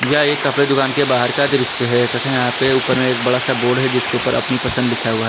यह एक कपड़े दुकान के बाहर का दृश्य है तथा यहां पे ऊपर में एक बड़ा सा बोर्ड है जिसके ऊपर अपनी पसंद लिखा हुआ है।